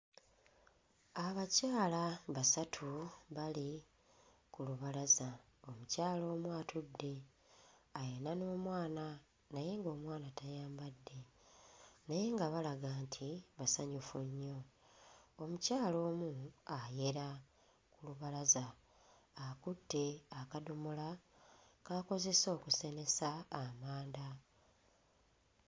Abakyala basatu bali ku lubalaza. Omukyala omu atudde ayina n'omwana naye ng'omwana tayambadde naye nga balaga nti basanyufu nnyo. Omukyala omu ayera lubalaza, akutte akadomola k'akozesa okusenesa amanda.